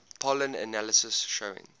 pollen analysis showing